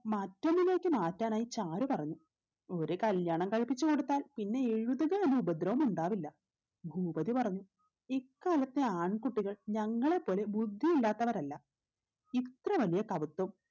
മറ്റൊന്നിലേക്ക് മാറ്റാനായ് ചാരു പറഞ്ഞു ഒരു കല്യാണം കഴിപ്പിച്ചു കൊടുത്താൽ പിന്നെ എഴുതുക എന്ന ഉപദ്രവം ഉണ്ടാവില്ല ഭൂപതി പറഞ്ഞു ഇക്കാലത്തെ ആൺ കുട്ടികൾ ഞങ്ങളെപ്പോലെ ബുദ്ധിയില്ലാത്തവരല്ല ഇത്രവലിയ കപത്വം